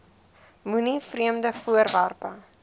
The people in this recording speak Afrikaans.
moenie vreemde voorwerpe